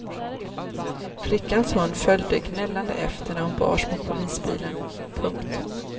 Flickans hund följde gnällande efter när hon bars mot polisbilen. punkt